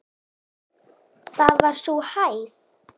Það var sú hæð.